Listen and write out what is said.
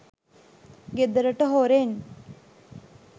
ගෙදරට හොරෙන්